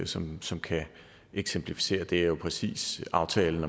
som som kan eksemplificere det er jo præcis aftalen